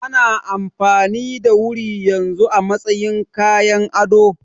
Ana amfani da wuri yanzu a matsayin kayan ado.